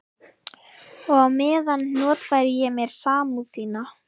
Og á meðan notfæri ég mér samúð þína.